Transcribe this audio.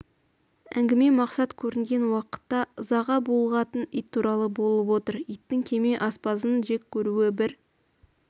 әңгіме мақсат көрінген уақытта ызаға булығатын ит туралы болып отыр иттің кеме аспазын жек көруі бір